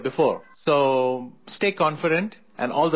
So stay confident and all the very best to you